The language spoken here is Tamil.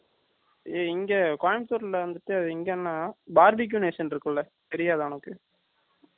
இங்க கோயம்புத்தூர்ல வந்துட்டு, எங்கன்னா, BarBQ nation இருக்குல்ல, தெரியாதா உனக்கு? BarBQ , கேள்விப்பட்டிருக்கேன்.